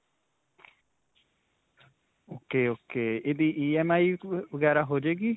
ok, ok. ਇਹਦੀ EMI ਵਗੈਰਾ ਹੋ ਜਾਵੇਗੀ?